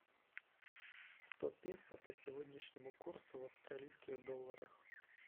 сто песо по сегодняшнему курсу в австралийских долларах